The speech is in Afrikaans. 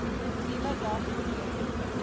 nuwe dag breek